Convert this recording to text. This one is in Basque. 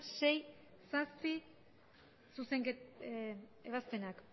sei zazpi ebazpenak